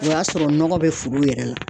O y'a sɔrɔ nɔgɔ bɛ foro yɛrɛ la